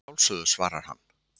Að sjálfsögðu, svarar hann.